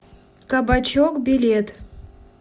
кабачок билет